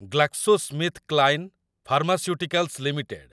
GlaxoSmithKline pharmaceuticals limited